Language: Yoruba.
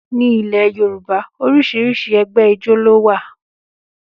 Ní ilẹ̀ Yorùbá, oríṣiríṣi ẹgbẹ́ ijó ló wà